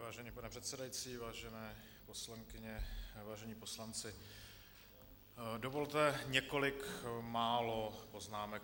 Vážený pane předsedající, vážené poslankyně, vážení poslanci, dovolte několik málo poznámek.